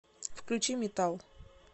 включи метал